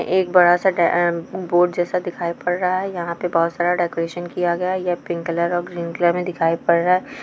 एक बड़ा सा डै ऐ उम्म ब बोर्ड जैसा दिखाई पड़ रहा है यहाँ पे बहोत सारा डेकोरेशन किया गया है यह पिंक कलर और ग्रीन कलर में दिखाइ पड़ रहा है।